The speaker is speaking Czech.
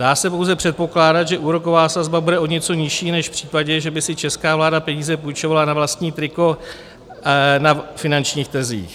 Dá se pouze předpokládat, že úroková sazba bude o něco nižší než v případě, že by si česká vláda peníze půjčovala na vlastní triko na finančních trzích.